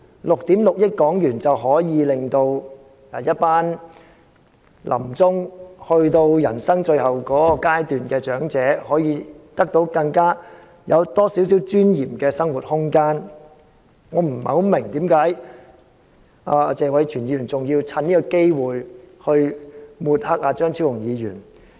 6億 6,000 萬元便可以令一群臨終、走到人生最後階段的長者更具尊嚴地享有更多生活空間，我不太明白謝偉銓議員為何還要藉此機會抹黑張超雄議員。